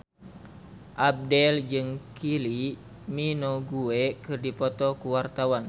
Abdel jeung Kylie Minogue keur dipoto ku wartawan